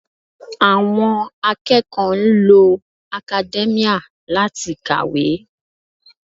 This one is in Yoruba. Àwọn akẹ́kọ̀ọ́ ń lo academia láti kàwé